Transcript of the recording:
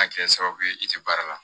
A kɛ sababu ye i tɛ baara la